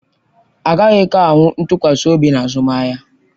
Agakwaghị ahụ ntụkwasị obi na azụmahịa